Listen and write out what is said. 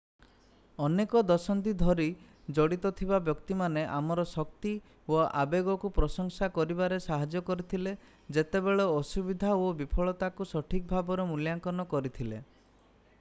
ଅନେକ ଦଶନ୍ଧି ଧରି ଜଡ଼ିତ ଥିବା ବ୍ୟକ୍ତିମାନେ ଆମର ଶକ୍ତି ଓ ଆବେଗକୁ ପ୍ରଶଂସା କରିବାରେ ସାହାଯ୍ୟ କରିଥିଲେ ଯେତେବେଳେ ଅସୁବିଧା ଓ ବିଫଳତାକୁ ସଠିକ୍ ଭାବରେ ମୂଲ୍ୟାଙ୍କନ କରିଥିଲେ